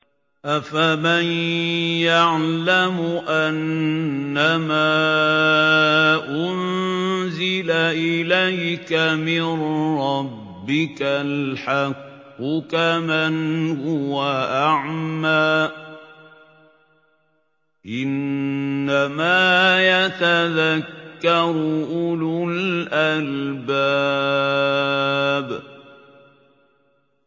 ۞ أَفَمَن يَعْلَمُ أَنَّمَا أُنزِلَ إِلَيْكَ مِن رَّبِّكَ الْحَقُّ كَمَنْ هُوَ أَعْمَىٰ ۚ إِنَّمَا يَتَذَكَّرُ أُولُو الْأَلْبَابِ